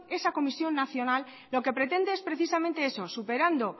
esa comisión nacional lo que pretende es precisamente eso superando